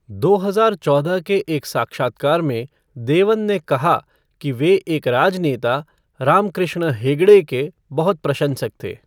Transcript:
दो हजार चौदह के एक साक्षात्कार में, देवन ने कहा कि वे एक राजनेता, रामकृष्ण हेगड़े, के बहुत प्रशंसक थे।